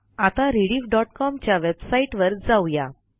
आता rediffकॉम च्या वेबसाईटवर जाऊ या